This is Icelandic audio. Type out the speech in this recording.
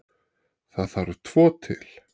Það þarf tvo til.